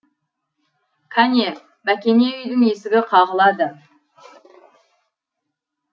кәне бәкене үйдің есігі қағылады